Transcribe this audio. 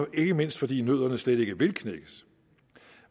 ikke mindst fordi nødderne slet ikke vil knækkes